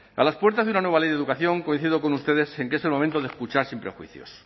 a las puertas de una nueva ley de educación coincido con ustedes en que es el momento de escuchar sin prejuicios